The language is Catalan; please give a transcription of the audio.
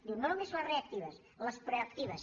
diu no només les reactives les proactives